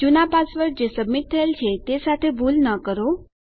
જુના પાસવર્ડ જે સબમીટ થયેલ છે તે સાથે ભૂલ ન કરો